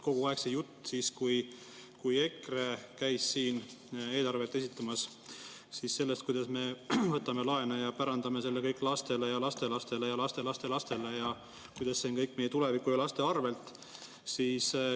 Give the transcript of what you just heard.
Kogu aeg jutt sellest, kui EKRE käis siin eelarvet esitamas, kuidas me võtame laene ja pärandame selle kõik lastele ja lastelastele ja lastelastelastele ja kuidas see kõik on meie tuleviku ja laste arvelt.